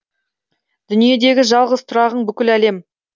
дүниедегі жалғыз тұрағың бүкіл әлем